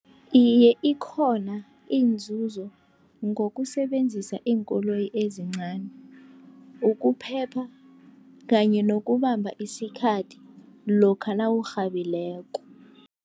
Iye, ikhona inzuzo ngokusebenzisa iinkoloyi ezincani, ukuphepha kanye nokubamba isikhathi lokha nawurhabileko.